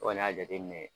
O kɔni y'a jateminɛ